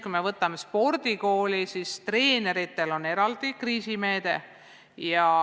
Kui vaatame näiteks spordikooli, siis treenerite jaoks on eraldi kriisimeede.